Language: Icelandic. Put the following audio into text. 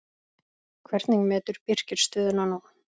Hvernig metur Birkir stöðuna nú?